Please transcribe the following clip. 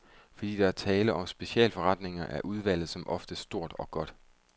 Fordi der er tale om specialforretninger, er udvalget som oftest stort og godt.